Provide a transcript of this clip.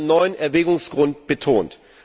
Dies wird in einem neuen Erwägungsgrund betont.